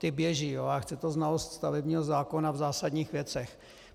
Ty běží, ale chce to znalost stavebního zákona v zásadních věcech.